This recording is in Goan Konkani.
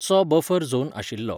चो बफर झोन आशिल्लो.